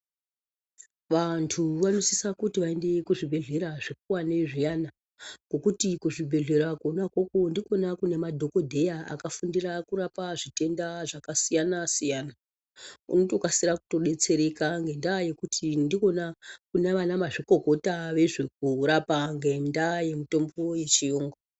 Vantu vanosisa kuti vaende kuzvibhedhleya zvikuvani zviyani. Ngekuti kuzvibhedhleya kona ikoko ndikona kune madhogodheya akafundira kurapa zvitenda zvakasiyana-siyana. Unotokasira kutobetsereka ngendaa yekuti ndikona kuna vana mazvikokora vezvekurapa ngendaa yemitombo yechiyungu.